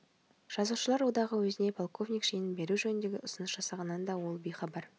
жазушылар одағы өзіне полковник шенін беру жөнінде ұсыныс жасағанынан да ол бейхабар